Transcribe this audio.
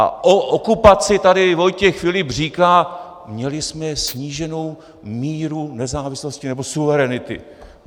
A o okupaci tady Vojtěch Filip říká: Měli jsme sníženou míru nezávislosti nebo suverenity.